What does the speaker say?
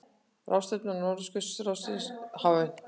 Ráðstefna Norðurskautsráðsins hafin